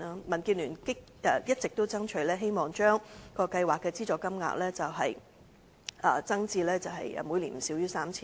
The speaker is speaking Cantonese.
民建聯一直爭取將計劃的資助金額增至每年不少於 3,000 元。